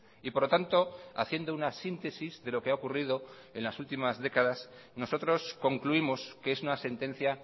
y por lo tanto haciendo una síntesis de lo que ha ocurrido en las últimas décadas nosotros concluimos que es una sentencia